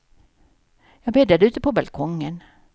Jag bäddade ute, på balkongen.